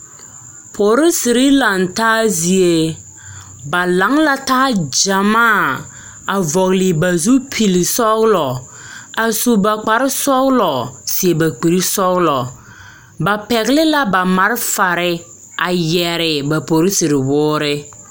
Polisiri laŋ taa zie ba lao la taa gyamaa a vɔgle ba zupilisɔglɔ a su ba kparesɔglɔ seɛ ba kurisɔglɔ ba pɛgle la ba malfare a yɛre ba polisiri woore.